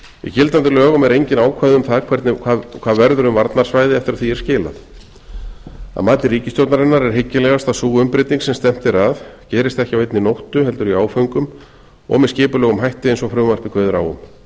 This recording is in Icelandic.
í gildandi lögum eru engin ákvæði um það hvað verður um varnarsvæðið eftir að því er skilað að mati ríkisstjórnarinnar er hyggilegast að sú umbreyting sem stefnt er að gerist ekki á einni nóttu heldur í áföngum og með skipulegum hætti eins og frumvarpið kveður á um